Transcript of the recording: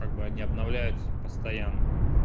как бы они обновляются постоянно